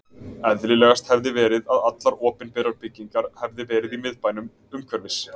Eðlilegast hefði verið, að allar opinberar byggingar hefði verið í Miðbænum, umhverfis